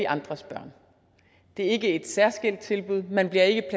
andres børn det er ikke et særskilt tilbud man bliver ikke